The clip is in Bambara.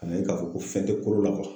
Ka n'a ye k'a fɔ ko fɛn tɛ kolo la